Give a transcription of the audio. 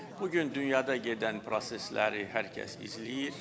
Bugün dünyada gedən prosesləri hər kəs izləyir.